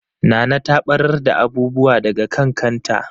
Nana ta ɓarar da abubuwa daga kan kanta.